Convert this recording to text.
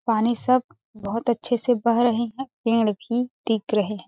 पानी सब बहुत अच्छे से बह रहे है पेड़ भी टिक रहे हैं।